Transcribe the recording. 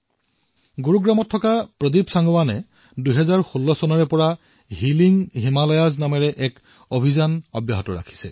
গুৰুগ্ৰামৰ প্ৰদীপ সাংগৱানে ২০১৬ চনৰ পৰাই হিলিং হিমালয়া নামৰ এক অভিযান চলাই আহিছে